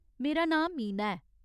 मेरा नांऽ मीना ऐ।